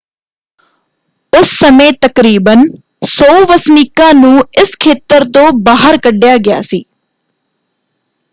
ਉਸ ਸਮੇਂ ਤਕਰੀਬਨ 100 ਵਸਨੀਕਾਂ ਨੂੰ ਇਸ ਖੇਤਰ ਤੋਂ ਬਾਹਰ ਕੱਢਿਆ ਗਿਆ ਸੀ।